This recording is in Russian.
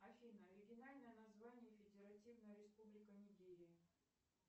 афина оригинальное название федеративная республика нигерия